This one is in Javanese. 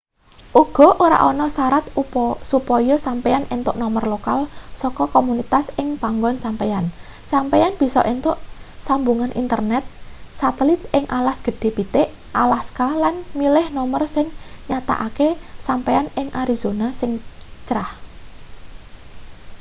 uga ora ana sarat supaya sampeyan entuk nomer lokal saka komunitas ing panggon sampeyan sampeyan bisa entuk sambungan internet satelit ing alas gedhe pitik alaska lan milih nomer sing nyatakake sampeyan ing arizona sing crah